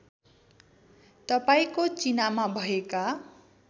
तपाईँको चिनामा भएका